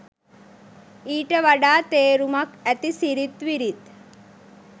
ඊට වඩා තේරුමක් ඇති සිරිත් විරිත්